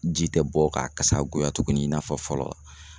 Ji tɛ bɔ ka kasa goya tuguni i n'a fɔ fɔlɔ